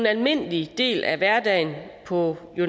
almindelig del af hverdagen på